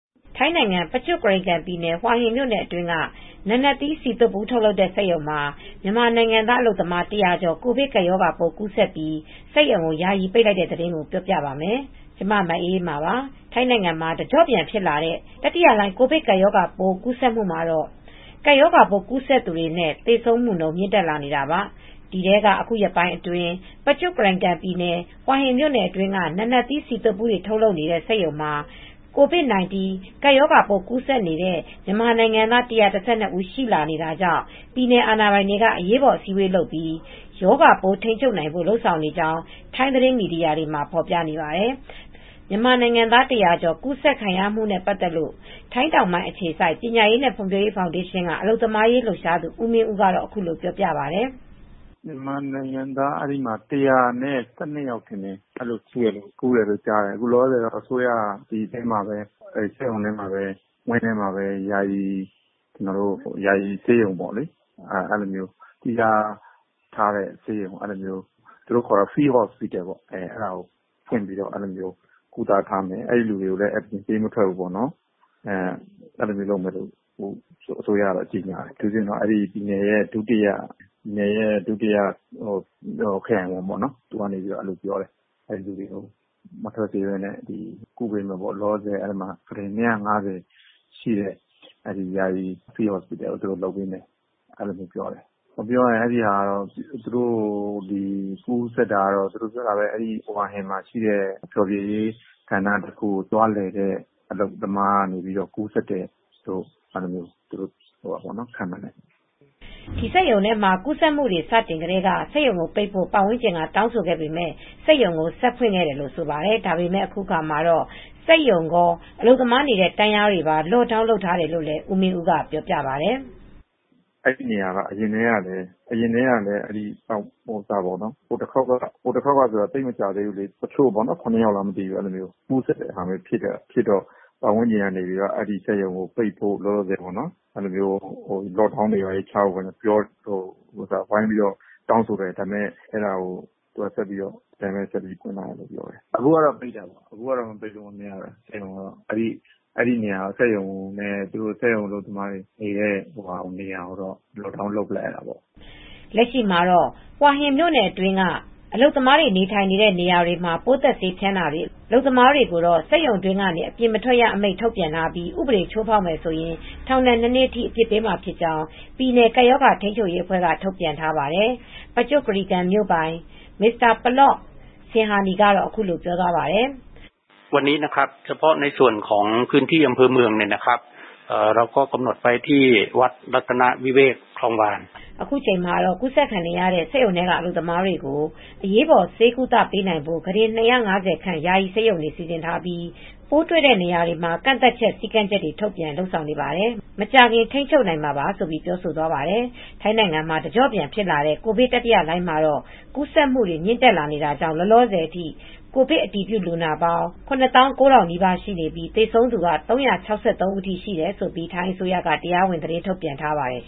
ထိုင်းနိုင်ငံ ပကျွတ်ကရိန်ကန်ပြည်နယ် ဟွာဟင်းမြို့နယ်အတွင်းက နာနတ်သီး ဆီသွတ်ဘူး ထုတ်လုပ်နေတဲ့ စက်ရုံမှာ မြန်မာနိုင်ငံသား အလုပ်သမား ၁၀၀ ကျော် ကိုဗစ်ကပ်ရောဂါပိုး ကူးစက်ပြီး စက်ရုံကို ယာယီပိတ်ပင်လိုက်ပါတယ်။ အပြည့်အစုံကို မအေးအေးမာ တင်ပြပေးထားပါတယ်။ ထိုင်းနိုင်ငံမှာ တကျော့ပြန်ဖြစ်လာတဲ့ တတိယလှိုင်း ကိုဗစ်ကပ်ရောဂါပိုး ကူးစက်မှုမှာတော့ ကပ်ရောဂါပိုး ကူးစက်သူနဲ့ သေဆုံးသူနှုန်း မြင့်တက်လာနေတာပါ။ ဒီထဲမှာ အခုရက်ပိုင်းအတွင်း ပကျွတ်ကရိန်ကန်ပြည်နယ် ွဟွာဟင်းမြို့နယ်အတွင်းက နာနတ်သီး ဆီသွတ်ဘူး ထုတ်လုပ်နေတဲ့ စက်ရုံမှာ COVID-19 ရောဂါပိုး ကူးစက်နေသူ မြန်မာနိုင်ငံသား ၁၁၂ ဦးအထိ ရှိလာနေတာကြောင့် ပြည်နယ်အာဏာပိုင်တွေဟာ အရးပေါ်အစည်းအဝေး ပြုလုပ်ပြီး ရောဂါပိုးထိန်းချုပ်နိုင်ဖို့ လုပ်ဆောင်နေကြကြောင်း ထိုင်းသတင်းမီဒီယာတွေမှာ ဖော်ပြနေပါတယ်။ မြန်မာနိုင်ငံသား ၁၀၀ ကျော် ကူးစက်ခံရမှု အခြေအနေနဲ့ ပတ်သက်လို့ ထိုင်းတောင်ပိုင်းအခြေစိုက် ပညာရေးနဲ့ ဖွံ့ဖြိုးရေးဖောင်းဒေးရှင်းက အလုပ်သမားရေး လှုပ်ရှားသူ ဦးမင်းဦးက အခုလိုပြောပါတယ်။ “မြန်မာနိုင်ငံသား အဲဒီမှာ ၁၁၂ ယောက် ကူးတယ်လို့ သိရတယ်။ လောလောဆယ် အစိုးရက အဲဒီစက်ရုံဝင်းထဲမှာပဲ ယာယီဆေးရုံလုပ်ပြီး သီးခြားထားတဲ့ဆေးရုံ သူတို့ခေါ်တဲ့ Field Hospital အဲဒါလုပ်မယ်ဆိုပြီး ဖွင့်ပြီး ကုသထားမယ်။ အဲဒီလူတွေကို အပြင်ပေးမထွက်ဘူးဆိုပြီး အစိုးရက ကြေညာတယ်။ အထူးသဖြင့် ပြည်နယ်ရဲ့ ဒုတိယခရိုင်ဝန်က ပြောတယ်။ အဲဒီလူတွေကို အပြင်ပေးမထွက်ဘဲ ကုသပေးမယ်။ အဲဒီမှာ လောလောဆယ် ကုတင် ၂၅၀ ရှိတဲ့ဆေးရုံ လုပ်ပေးမယ် ပြောတယ်။ ပြောရရင် ကူးစက်တာက သူတို့ပြောတာက ဟွာဟင်းမှာရှိတဲ့ ဖျော်ဖြေရေးနေရာကိုသွားတဲ့ အလုပ်သမားတဦးကနေ စပြီးကူးစက်တယ်လို့ ခန့်မှန်းတယ်။” ဒီစက်ရုံထဲမှာ ကူးစက်မှုတွေ စတင်ကတည်းက စက်ရုံကိုပိတ်ဖို့ ပတ်ဝန်းကျင်က တောင်းဆိုပေမယ့် စက်ရုံဆက်ဖွင့်ခဲ့တယ်လို့ ဆိုပါတယ်။ ဒါပေမယ့် အခုအခါမှာတေ့ာ စက်ရုံရော အလုပ်သမားတွေနေတဲ့ တန်းလျားတွေကိုပါ Lockdown လုပ်ထားတယ်လို့လည်း ဦးမင်းဦးက ပြောပြပါတယ်။ “အဲဒီနေရာက အရင်တည်းက ဟိုတခေါက်က သိပ်မကြာသေးဘူး၊ တချို့ ၇ ယောက်ကူးစက်တာဖြစ်တယ်။ ပတ်ဝန်းကျင်က အဲဒီစက်ရုံကို ပိတ်ဖို့ လောလောဆယ် Lockdown လုပ်ဖို့ ပြောတယ်၊ ဝိုင်းပြီး တောင်းဆိုတယ်။ အဲဒီတုန်းက ဒီအတိုင်း ဆက်ဖွင့်ထားတယ်ပြောတယ်။ အခုကတော့ ပိတ်ရတယ်။ အခုမပိတ်လို့မရဘူး။ အဲဒီစက်ရုံနဲ့ စက်ရုံအလုပ်သမားတွေနေတဲ့နေရာ Lockdown လုပ်ပစ်လိုက်ရတယ်။” လက်ရှိအခြေအနေမှာ ဟွာဟင်းမြို့နယ်အတွင်းက အလုပ်သမားတွေ နေထိုင်နေတဲ့ နေရာတွေမှာ ပိုးသတ်ဆေးဖျန်းတာတွေ အလုပ်သမားတွေ စက်ရုံတွင်းကနေ အပြင်မထွက်ရအမိန့် ထုတ်ပြန်ထားပြီး ဥပဒေချိုးဖောက်ရင် ထောင်ဒဏ် ၂ နှစ်အထိ အပြစ်ပေးမှာဖြစ်ကြောင်း ပြည်နယ် ကပ်ရောဂါထိန်းချုပ်ရေးအဖွဲ့က ထုတ်ပြန်ထားပါတယ်။ ပကျွတ်ကရိန်ကန်မြို့ပိုင် Mr. Pallop Singhasani ကတော့ အခုလိုပြောသွားပါတယ်။ “အခုအချိန်မှာ ကူးစက်ခံနေရတဲ့ စက်ရုံထဲက အလုပ်သမားတွေကို အရေးပေါ် ဆေးကုပေးနိုင်ဖို့ ကုတင် ၂၅၀ ဆန့် ယာယီဆေးရုံတွေ စီစဉ်ထားပြီး ပိုးတွေ့တဲ့နေရာတွေမှာ ကန့်သတ်ချက် စည်းကမ်းတွေ ထုတ်ပြန် လုပ်ဆောင်နေပါတယ်။ မကြာခင် ထိန်းချုပ်နိုင်မှာပါ။” ဆိုပြီး ပြောသွားပါတယ်။ ထိုင်းနိုင်ငံမှာ တကျော့ပြန်ဖြစ်လာတဲ့ ကိုဗစ်တတိယလှိုင်းမှာတော့ ကူးစက်မှုတွေ မြင့်တက်လာနေတာကြောင့် လောလောဆယ်အထိ ကိုဗစ် အတည်ပြုလူနာ စုစုပေါင်း ၇၉,၀၀၀ နီးပါးရှိနေပြီး သေဆုံးသူက ၃၆၃ ဦးအထိ ရှိတယ်လို့ ထိုင်းအစိုးရက တရားဝင် သတင်းထုတ်ပြန်ထားပါတယ်